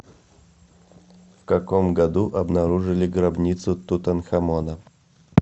в каком году обнаружили гробницу тутанхамона